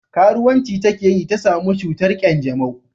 Karuwanci ta ke yi ta samu cutar kyanjamau